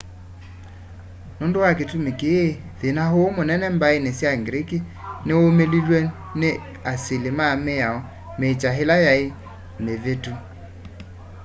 nũndũ wa kĩtũmĩ kĩĩ thĩna ũũ mũnene mbaĩnĩ sya greek nĩwaũmĩlĩlwe nĩ nĩ asĩlĩ ma mĩao mĩkya ĩla yaĩ mĩvĩtũ